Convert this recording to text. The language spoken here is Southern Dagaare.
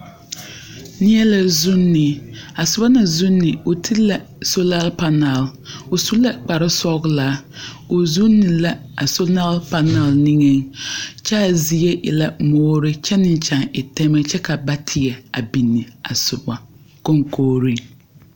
Neɛ la zuuni a soba na naŋ zuuni o ti la sola panɛl a su la kpare sɔglaa o zuuni la a sola panɛl niŋe kyɛ a zie e la moore kyɛ meŋ kyaa e pɛmɛ kyɛ ka ba teɛ a duni a soga kɔŋkɔreŋ.